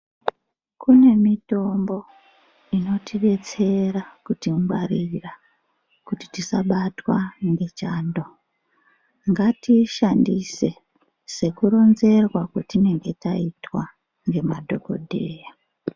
Kune mitombo inotidetsera, kutingwarira kuti tisabatwa ngechando. Ngatiishandise sekuronzerwa kwatinenge taitwa nemadhokodheya.